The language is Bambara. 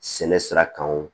Sɛnɛ sira kan o